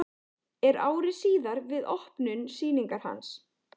Er ári síðar við opnun sýningar hans.